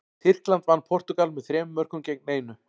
Tyrkland vann Portúgal með þremur mörkum gegn einu.